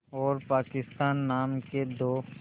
और पाकिस्तान नाम के दो